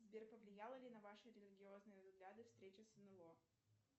сбер повлияло ли на ваши религиозные взгляды встреча с нло